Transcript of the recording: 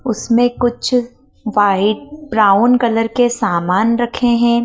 उसमें कुछ white brown colour के सामान रखे हैं।